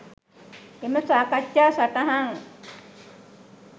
එම සාකච්ඡා සටහන්